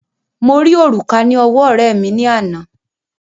Mo rí òrùka ní ọwọ́ ọ̀rẹ́ẹ̀ mi ní àná.